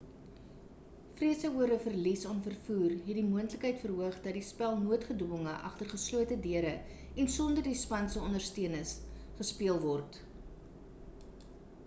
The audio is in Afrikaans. vrese oor 'n verlies aan vervoer het die moontlikheid verhoog dat die spel noodgedwonge agter geslote deure en sonder die span se ondersteuners gespeel word